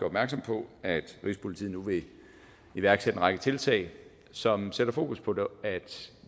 opmærksom på at rigspolitiet nu vil iværksætte en række tiltag som sætter fokus på at